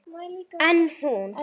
En hún.